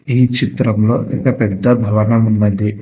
ఈ చిత్రంలో ఒక పెద్ద భవనం ఉన్నది.